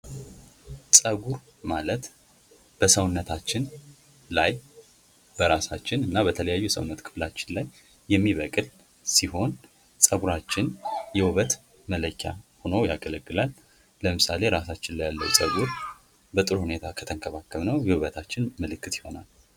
ጸጉር ማለት በሰውነታችን ላይ በራሳችን እንዲሁም የተለያዩ የሰዉነት ክፍላችን ላይ የሚበቅል ሲሆን፤ ጸጉራችን የዉበት መለኪያ ሆኖ ያገለግላል። ለምሳሌ ራሳችን ላይ ያለው ጽጉር በጥሩ ሁኔታ ከተንከባከብነው የዉበታችን ምልክት ይሆናል።